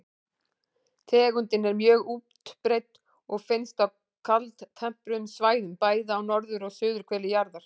Tegundin er mjög útbreidd og finnst á kaldtempruðum svæðum, bæði á norður- og suðurhveli jarðar.